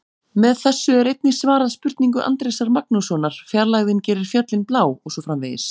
Með þessu er einnig svarað spurningu Andrésar Magnússonar: Fjarlægðin gerir fjöllin blá og svo framvegis.